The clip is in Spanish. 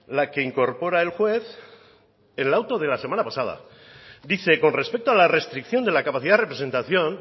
la que incorpora el juez en el auto de la semana pasada dice con respecto a la restricción de la capacidad de representación